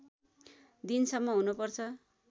दिन सम्म हुनु पर्छ